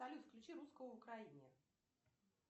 салют включи русского в украине